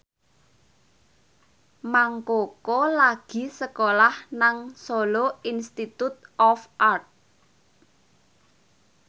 Mang Koko lagi sekolah nang Solo Institute of Art